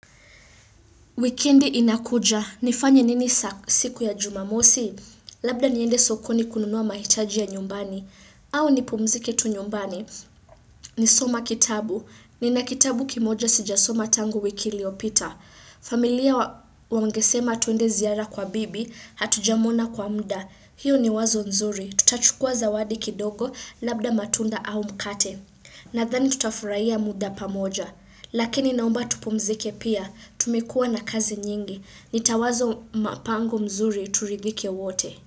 Wikendi inakuja. Nifanye nini siku ya jumamosi? Labda niende sokoni kununua mahitaji ya nyumbani. Au nipumzike tu nyumbani. Ni soma kitabu. Nina kitabu kimoja sijasoma tangu wiki iliopita. Familia wangesema tuende ziara kwa bibi, hatujamwona kwa muda. Hiyo ni wazo nzuri. Tutachukua zawadi kidogo labda matunda au mkate. Nadhani tutafuraiya muda pamoja. Lakini naomba tupumzike pia, tumekua na kazi nyingi. Nitawazo mapango mzuri turidhike wote.